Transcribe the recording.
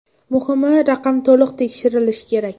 Muhimi raqam to‘liq terilishi kerak.